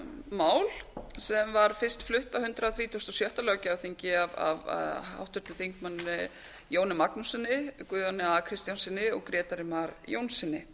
mál sem var fyrst flutt á hundrað þrítugasta og sjötta löggjafarþingi af háttvirtum þingmönnum jóni magnússyni guðjóni a kristjánssyni og grétari mar jónssyni